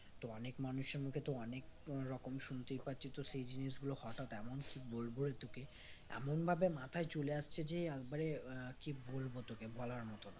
তো অনেক মানুষের মুখে তো অনেক রকম শুনতেই পাচ্ছি তো সেই জিনিসগুলো হঠাৎ এমন কি বলব রে তোকে এমন ভাবে মাথায় চলে আসছে যে একবারে আহ কি বলবো তোকে বলার মতো না